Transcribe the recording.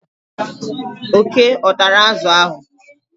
oke ọ tara azụ ahụ?